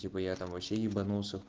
типа я там вообще ебанулся